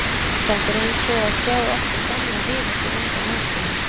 Þetta er eins og að sjá aftur gamlan vin eftir langan aðskilnað.